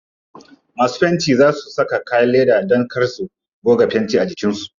Masu fentin za su saka kayan leda dan kar su goga fenti a jikin su.